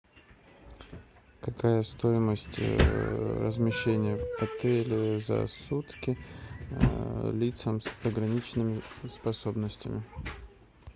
какая стоимость размещения в отеле за сутки лицам с ограниченными способностями